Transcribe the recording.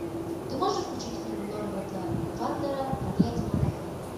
ты можешь включить фильм норберта вандера проклятие монахини